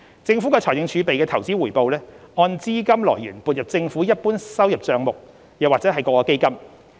政府財政儲備的投資回報，按資金來源撥入政府一般收入帳目或各基金。